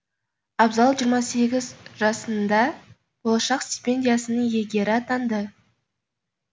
абзал жиырма сегіз жасында болашақ стипендиясының иегері атанды